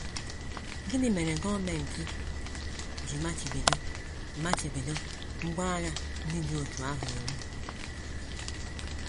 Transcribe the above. Gịnị mere gọọmenti ji machibido machibido ngwá agha ndị dị otú ahụ iwu?